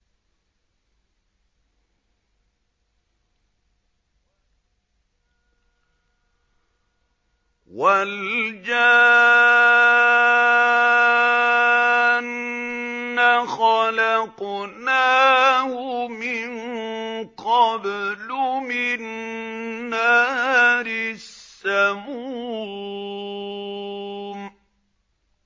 وَالْجَانَّ خَلَقْنَاهُ مِن قَبْلُ مِن نَّارِ السَّمُومِ